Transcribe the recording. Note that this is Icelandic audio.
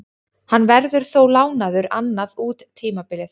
Hann verður þó lánaður annað út tímabilið.